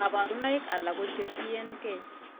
Kabarunaik alak ko che tien gee